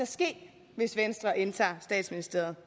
ske hvis venstre indtager statsministeriet